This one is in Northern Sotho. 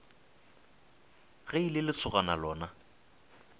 ge e le lesogana lona